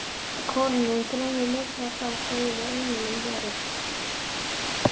Kóraninn greinir ljóslega frá, sögðum við englunum, verið